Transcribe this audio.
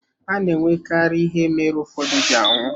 A na-enwekarị ihe mere ụfọdụ ji anwụ.